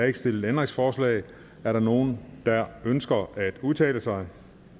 ikke stillet ændringsforslag er der nogen der ønsker at udtale sig